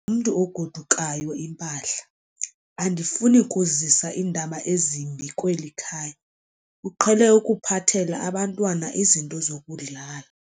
mntu ogodukayo impahla. andifuni ukuzisa iindaba ezimbi kweli khaya, uqhele ukuphathela abantwana izinto zokudlala